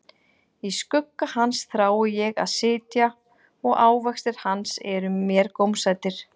Í skugga hans þrái ég að sitja, og ávextir hans eru mér gómsætir.